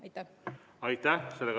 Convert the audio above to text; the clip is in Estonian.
Aitäh!